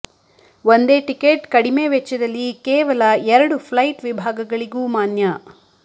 ಒಂದೇ ಟಿಕೆಟ್ ಕಡಿಮೆ ವೆಚ್ಚದಲ್ಲಿ ಕೇವಲ ಎರಡು ಫ್ಲೈಟ್ ವಿಭಾಗಗಳಿಗೂ ಮಾನ್ಯ